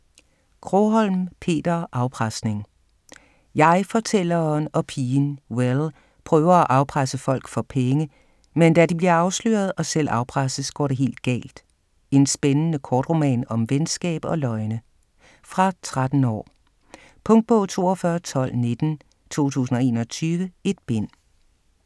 Krogholm, Peter: Afpresning Jeg-fortælleren og pigen Will prøver at afpresse folk for penge, men da de bliver afsløret og selv afpresses, går det helt galt. En spændende kortroman om venskab og løgne. Fra 13 år. Punktbog 421219 2021. 1 bind.